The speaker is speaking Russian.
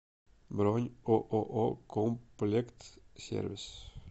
бронь ооо комплектсервис